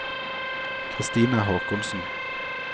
Kristina Håkonsen